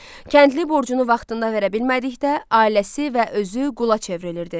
Kəndli borcunu vaxtında verə bilmədikdə, ailəsi və özü qula çevrilirdi.